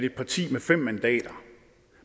et parti med fem mandater og